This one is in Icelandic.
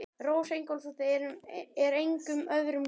Rósa Ingólfsdóttir er engum öðrum lík.